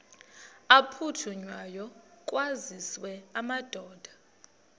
aphuthunywayo kwaziswe amadoda